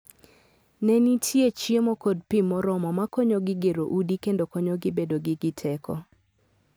Ne ni nitie chiemo kod pi moromo ma konyogi gero udi kendo konyogi bedo gi teko.